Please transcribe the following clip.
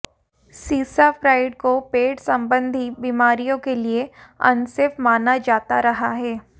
cisapride को पेट संबंधी बीमारियों के लिए अनसेफ माना जाता रहा है